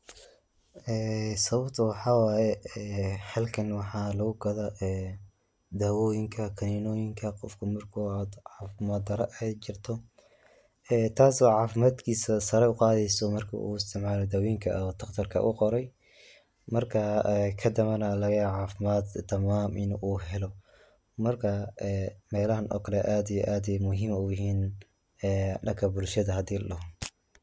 Eee sawabta waxa waye ee xalkan waxa lagugado ee dawoyinka, kaninoyinka, gofka marku cafimad dara ay jirto, taas aya cafimadkisa saara uqadeyso marku uudawoyinka daktarka umqorey, marka ee kadambe aya lagayawa cafimadka daman inu xeloo, marka ee melaxan o kale aad iyo aad ayan muxiim uyixin, ee danka bushada xadhii.